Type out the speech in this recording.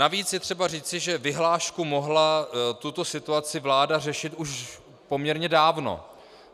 Navíc je třeba říci, že vyhláškou mohla tuto situaci vláda řešit už poměrně dávno.